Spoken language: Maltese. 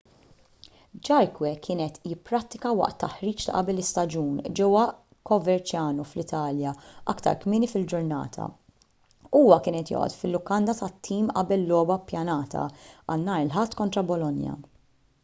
jarque kien qed jipprattika waqt taħriġ ta' qabel l-istaġun ġewwa coverciano fl-italja aktar kmieni fil-ġurnata huwa kien qed joqgħod fil-lukanda tat-tim qabel logħba ppjanata għal nhar il-ħadd kontra bolonia